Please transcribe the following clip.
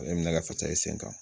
Ne minɛ ka fasa i sen kan